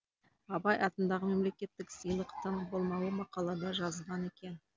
абай атындағы мемлекеттік сыйлықтың болмауы мақалада жазылған екен